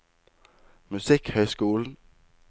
musikkhøyskolen